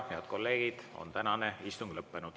Head kolleegid, tänane istung on lõppenud.